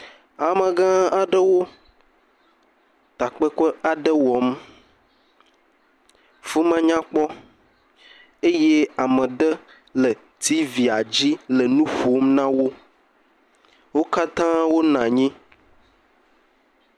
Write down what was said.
Amegã aɖewo takpekpe aɖe wɔm. Afi ma nyakpɔ eye ame aɖe le T.V la dzi le nu ƒom na wo. Wo katã wonɔ anyi.